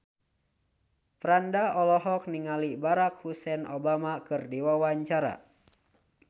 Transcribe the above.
Franda olohok ningali Barack Hussein Obama keur diwawancara